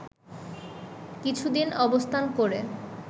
কিছুদিন অবস্থান করে